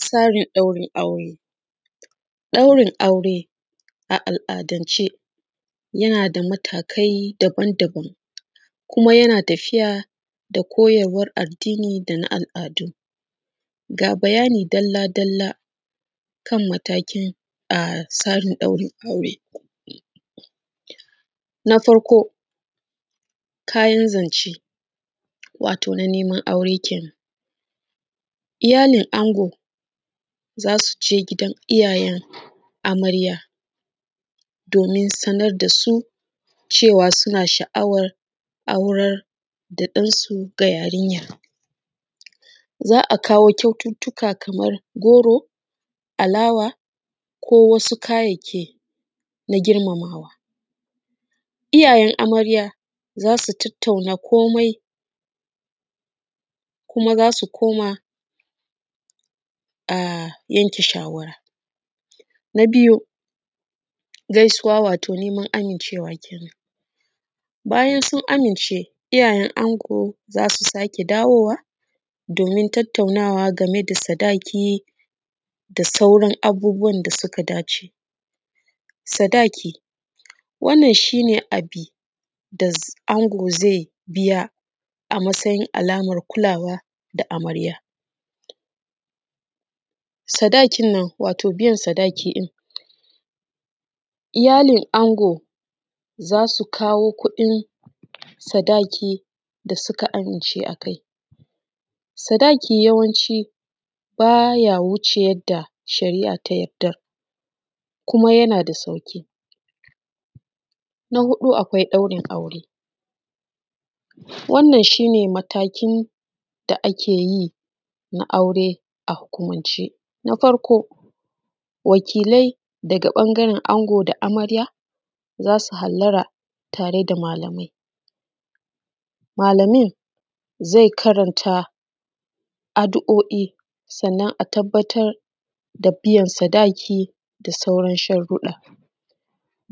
Tsarin ɗaurin aure a al’adance yana da matakai daban-daban kuma yana tafiya da koyarwan addini da na al’adu. Ga bayani dalla-dalla kan maganan tsarin ɗaurin aure na farko kayan zance na neman aure kenan iyalin ango za su je gidan iyayen amarya domin sanar da su cewa suna sha’awar aurar da ɗan su ga yarinyar, za a kawo kyaututtuka kamar goro, alawa ko wasu kayayyaki na girmamawa iyayen yarinya, za su tattauna komai kuma za su koma yanke shawara. Na biyu gaisuwa, wato neman amincewa kenan bayan sun amince iyayen ango za su dawo domin tattaunawa game da yanke sadaki da sauran abubuwan da suka dace, sadaki wannan shi ne abu da ango zai biya a matsayin alamar kulawa ga amarya, biyan sadakin iyalin ango za su kawo kuɗin sadaki da suka amince a kai sadaki, yawanci baya wuce yadda shari’a ta yanke kuma yana da sauƙi. Na huɗu akwai ɗaurin aure, wannan shi ne matakin da ake yi na aure a hukumance, na farko wakilai a ɓangaren ango da amarya za su hallara tare da malamai, malamin zai karanta addu’o’i sannan a tabattar da biyan sadaki da sauran sharuɗɗa,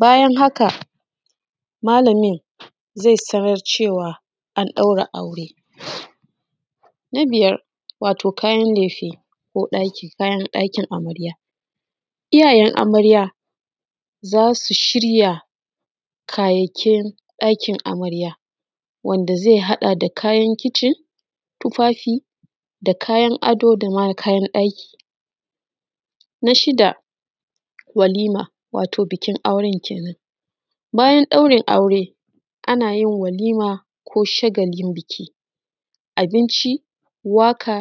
bayan haka malamin zai tabbatar da cewa an ɗaura aure. Na biyar kayan lefe ko kayan ɗakin amarya, iyayen amarya za su shirya kayayyakin ɗakin amarya wanda zai haɗa da kayan kicin, tufafi da kayan ɗaki, na shiɗa walima wato bikin auren kenan, bayan ɗaurin aure ana yin walima ko shagalin biki, waƙa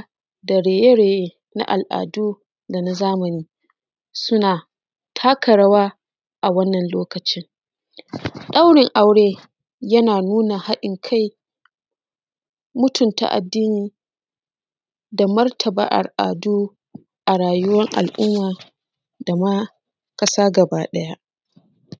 da raye-raye na al’adu da na zamani, suna taka rawa a wannan lokacin, ɗaurin aure na nuna haɗin kai da martaba al’adu da rayuwan al’umma da ma ƙasa gabaɗaya.